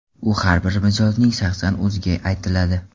U har bir mijozning shaxsan o‘ziga aytiladi.